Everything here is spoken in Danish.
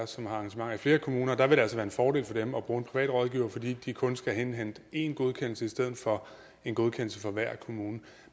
som har arrangementer i flere kommuner og der vil det altså være en fordel for dem at bruge en private rådgiver fordi de kun skal indhente én godkendelse i stedet for en godkendelse fra hver kommune